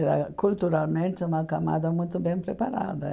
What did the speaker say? Era, culturalmente, uma camada muito bem preparada.